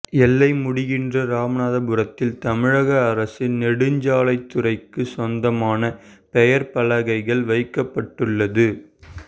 எல்லை முடிகின்ற ராமாபுரத்தில் தமிழக அரசின் நெடுஞ்சாலைத்துறைக்கு சொந்தமான பெயர் பலகைகள் வைக்கப்பட்டுள்ளது